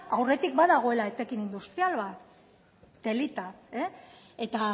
aurretik badagoela etekin industrial bat telita eta